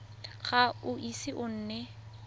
ga o ise o nne